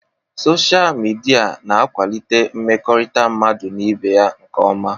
Sochaa midia na akwalite mmekọrịta mmadụ n'ibé ya nkeọma.